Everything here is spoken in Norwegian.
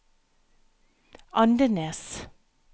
Andenes